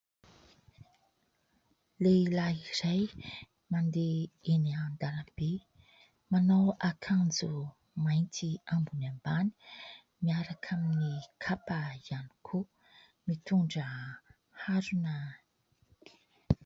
Lehilahy iray mandeha eny an-dalambe, manao akanjo mainty ambony ambany miaraka amin'ny kapa ihany koa, mitondra harona.